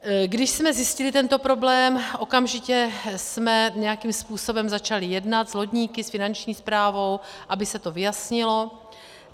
Když jsme zjistili tento problém, okamžitě jsme nějakým způsobem začali jednat s lodníky, s Finanční správou, aby se to vyjasnilo.